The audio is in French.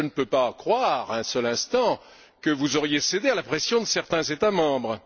Je ne peux pas croire un seul instant que vous auriez cédé à la pression de certains États membres.